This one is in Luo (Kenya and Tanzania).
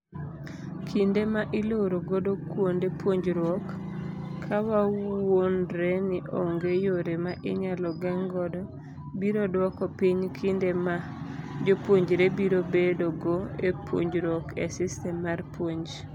Kinde ma iloro godo kuonde puonjruok, kawawuondreni onge yore ma inyalo geng' godo, biro dwoko piny kinde ma jopuonjre biro bedo go e punjoruok e system mar puonj.